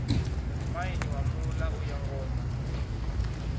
maine wa muḽa uyo ngoma